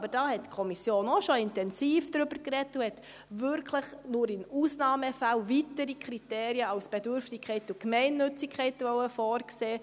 Aber da hat die Kommission auch schon intensiv darüber gesprochen und wollte wirklich nur in Ausnahmefällen weitere Kriterien als Bedürftigkeit und Gemeinnützigkeit vorsehen.